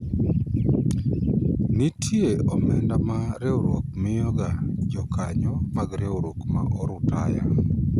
nitie omenda ma riwruok miyo ga jokanyo mag riwruok ma orutaya